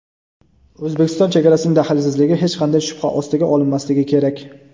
O‘zbekiston chegarasining daxlsizligi hech qanday shubha ostiga olinmasligi kerak.